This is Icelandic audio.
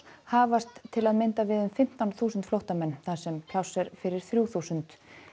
hafast til að mynda við fimmtán þúsund flóttamenn þar sem pláss er fyrir þrjú þúsund